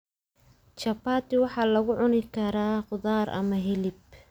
Chapati waxaa lagu cuni karaa khudaar ama hilib.